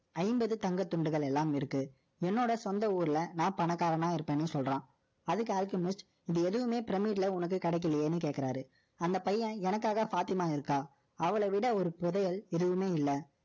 ஐம்பது தங்கத் துண்டுகள், எல்லாம் இருக்கு. என்னோட சொந்த ஊர்ல, நான் பணக்காரனா இருப்பேன்னு சொல்றான் அதுக்கு Alchemist, இப்படி எதுவுமே pyramid ல உனக்கு கிடைக்கலையேன்னு கேட்கிறாரு. அந்த பையன், எனக்காக பாத்திமா இருக்கான. அவளைவிட ஒரு புதையல், எதுவுமே இல்லை.